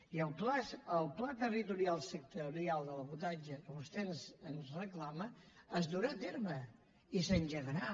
i el pla territorial sectorial de l’habitatge que vostè ens reclama es durà a terme i s’engegarà